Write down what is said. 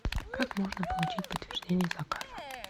как можно получить подтверждение заказа